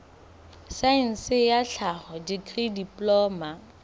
saense ya tlhaho dikri diploma